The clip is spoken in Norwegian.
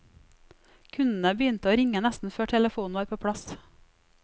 Kundene begynte å ringe nesten før telefonen var på plass.